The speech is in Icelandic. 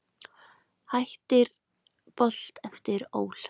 Hættir Bolt eftir ÓL